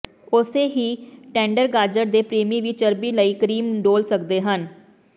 ਉਸੇ ਹੀ ਟੈਂਡਰ ਗਾਜਰ ਦੇ ਪ੍ਰੇਮੀ ਵੀ ਚਰਬੀ ਲਈ ਕਰੀਮ ਡੋਲ ਸਕਦੇ ਹਨ